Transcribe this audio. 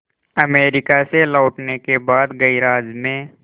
America से लौटने के बाद गैराज में